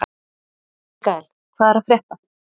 Mikkael, hvað er að frétta?